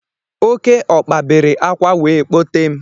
Oké ọkpa bere akwa wee kpọtee m.